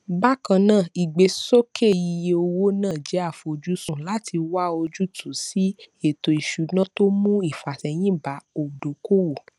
bákan náà ìgbésókè iye owó náà jẹ àfojúsùn láti wá ojútùú sí ètò ìṣúná tó mú ìfàsẹyìn bá oùdókòwò